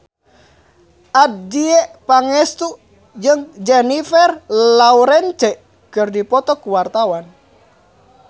Adjie Pangestu jeung Jennifer Lawrence keur dipoto ku wartawan